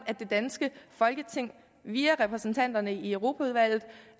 det danske folketing via repræsentanterne i europaudvalget